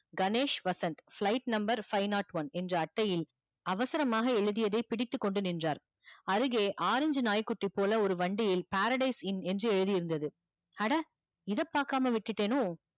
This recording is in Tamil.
Ganesh Vasanth flight number five not one என்ற அட்டையில் அவசரமாக எழுதியதை பிடித்து கொண்டு நின்றார் அருகே orange நாய் குட்டி போல ஒரு வண்டியில் paradise in என்று எழுதி இருந்தது அட இத பாக்காம விட்டுடனோ